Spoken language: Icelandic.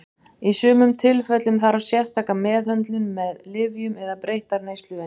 Í sumum tilfellum þarf sérstaka meðhöndlun með lyfjum eða breyttar neysluvenjur.